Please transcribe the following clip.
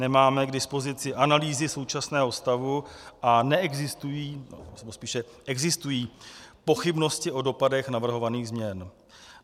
Nemáme k dispozici analýzy současného stavu a neexistují, nebo spíše existují pochybnosti o dopadech navrhovaných změn.